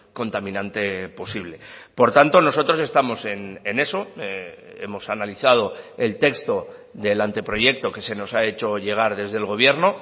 contaminante posible por tanto nosotros estamos en eso hemos analizado el texto del anteproyecto que se nos ha hecho llegar desde el gobierno